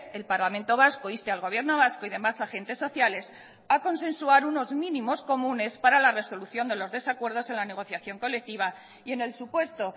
el parlamento vasco inste al gobierno vasco y demás agentes sociales a consensuar unos mínimos comunes para la resolución de los desacuerdos en la negociación colectiva y en el supuesto